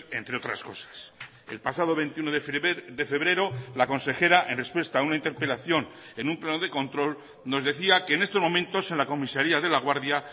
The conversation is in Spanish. entre otras cosas el pasado veintiuno de febrero la consejera en respuesta a una interpelación en un pleno de control nos decía que en estos momentos en la comisaría de laguardia